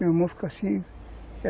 Meu irmão ficou assim...